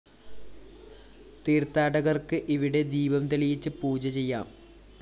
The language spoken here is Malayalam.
തീര്‍ത്ഥാടകര്‍ക്ക് ഇവിടെ ദീപം തെളിയിച്ച് പൂജ ചെയ്യാം